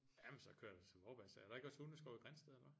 Jamen så kører du til Vorbasse er der ikke også hundeskov i Grindsted eller hvad?